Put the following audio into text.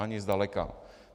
Ani zdaleka.